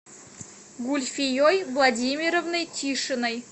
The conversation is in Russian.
гульфией владимировной тишиной